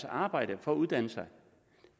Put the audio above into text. arbejde for at uddanne sig